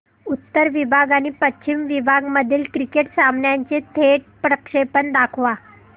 उत्तर विभाग आणि पश्चिम विभाग मधील क्रिकेट सामन्याचे थेट प्रक्षेपण दाखवा